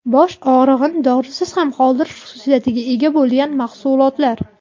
Bosh og‘rig‘ini dorisiz ham qoldirish xususiyatiga ega bo‘lgan mahsulotlar.